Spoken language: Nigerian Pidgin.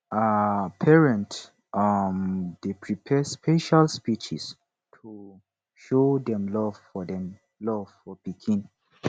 um parents um dey prepare special speeches to show dem love for dem love for pikin